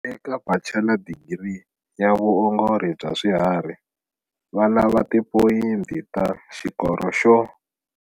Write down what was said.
Eka Bachela Digiri ya Vuongori bya Swiharhi, va lava Tipoyinti ta Xikoro xo.